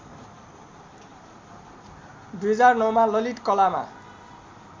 २००९ मा ललित कलामा